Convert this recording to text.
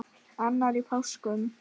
Annar í páskum.